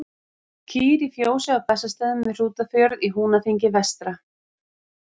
Kýr í fjósi á Bessastöðum við Hrútafjörð í Húnaþingi vestra.